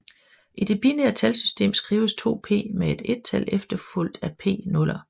I det binære talsystem skrives 2p med et ettal efterfulgt af p nuller